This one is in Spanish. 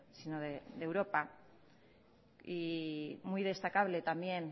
sino de europa y muy destacable también